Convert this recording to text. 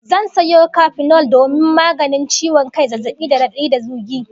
Zan sayo kafinol domin maganin ciwon kai, zazzabi da radadi da zugi